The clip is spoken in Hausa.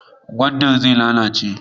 Gwandar zai lalace.